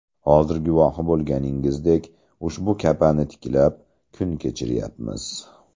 Hozir guvohi bo‘lganingizdek, ushbu kapani tiklab, kun kechiryapmiz.